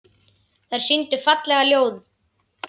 Þær sýndu fallega þjóð.